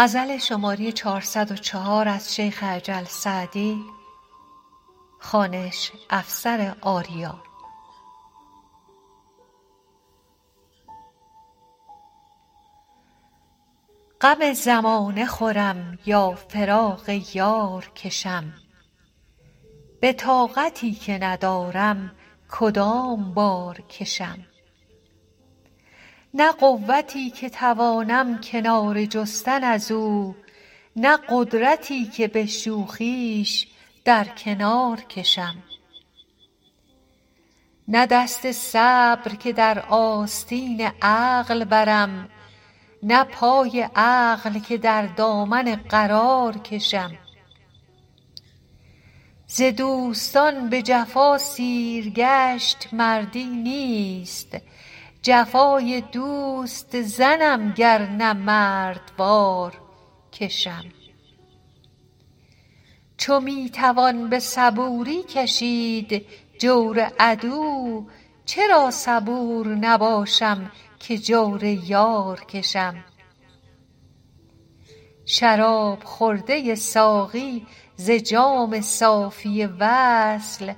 غم زمانه خورم یا فراق یار کشم به طاقتی که ندارم کدام بار کشم نه قوتی که توانم کناره جستن از او نه قدرتی که به شوخیش در کنار کشم نه دست صبر که در آستین عقل برم نه پای عقل که در دامن قرار کشم ز دوستان به جفا سیرگشت مردی نیست جفای دوست زنم گر نه مردوار کشم چو می توان به صبوری کشید جور عدو چرا صبور نباشم که جور یار کشم شراب خورده ساقی ز جام صافی وصل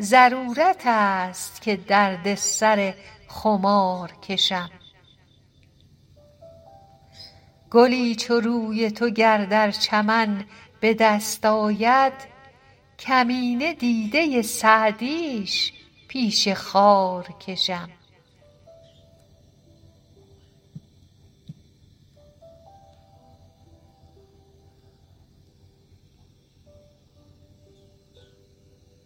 ضرورت است که درد سر خمار کشم گلی چو روی تو گر در چمن به دست آید کمینه دیده سعدیش پیش خار کشم